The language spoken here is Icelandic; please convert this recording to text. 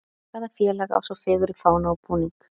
Hvaða félag á svo fegurri fána og búning?